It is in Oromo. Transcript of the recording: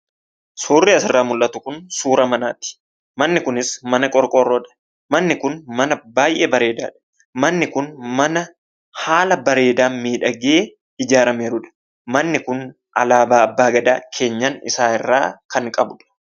Suurri asirraa mul'atu kun suura manaati. Manni kunis mana qorqorroodha. Manni kun mana baay'ee bareedaadha. Manni kun mana haala bareedaan miidhagee ijaaramedha. Manni kun alaabaa Abbaa Gadaa keenyan isaa irraa kan qabudha.